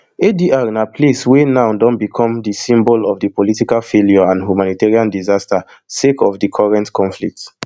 adr na place wey now don become di symbol of di political failure and humanitarian disaster sake of di current conflict